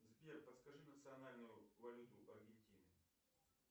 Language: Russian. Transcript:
сбер подскажи национальную валюту аргентины